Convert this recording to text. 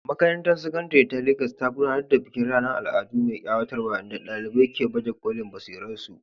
Makarantar Sakandare ta Legas ta gudanar da bikin ranar al'adu mai ƙayatarwa inda ɗalibai ke baje kolin basirarsu.